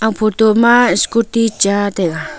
photo ma scooty cha taga.